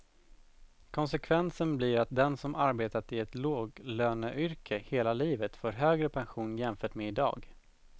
Konsekvensen blir att den som arbetat i ett låglöneyrke hela livet får högre pension jämfört med i dag.